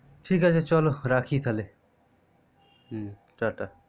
ঠিক আছে চলো রাখি তালে টাটা